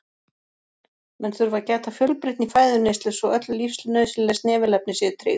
menn þurfa að gæta fjölbreytni í fæðuneyslu svo öll lífsnauðsynleg snefilefni séu tryggð